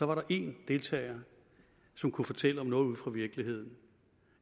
var der én deltager som kunne fortælle om noget ude fra virkeligheden